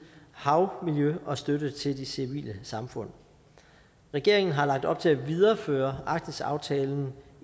havmiljø og støtte til de civile samfund regeringen har lagt op til at videreføre arktisaftalen